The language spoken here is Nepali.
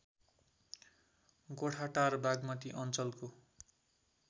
गोठाटार बागमती अञ्चलको